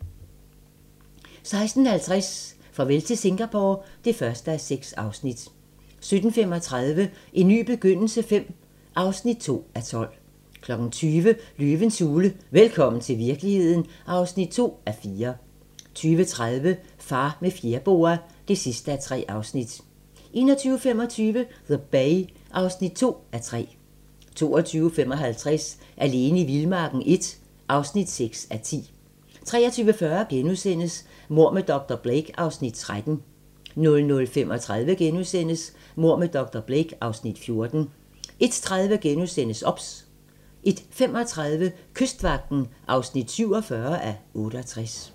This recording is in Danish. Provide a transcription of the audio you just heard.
16:50: Farvel til Singapore (1:6) 17:35: En ny begyndelse V (2:12) 20:00: Løvens hule - velkommen til virkeligheden (2:4) 20:30: Far med fjerboa (3:3) 21:25: The Bay (2:3) 22:55: Alene i vildmarken I (6:10) 23:40: Mord med dr. Blake (Afs. 13)* 00:35: Mord med dr. Blake (Afs. 14)* 01:30: OBS * 01:35: Kystvagten (47:68)